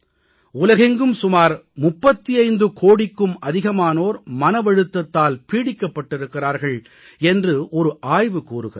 உலகெங்கும் சுமார் 35கோடிக்கும் அதிகமானோர் மனவழுத்தத்தால் பீடிக்கப்பட்டிருக்கிறார்கள் என்று ஒரு ஆய்வு கூறுகிறது